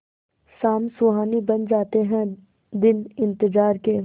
शाम सुहानी बन जाते हैं दिन इंतजार के